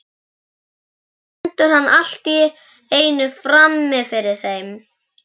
Svo stendur hann allt í einu frammi fyrir þeim.